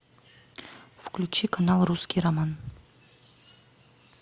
включи канал русский роман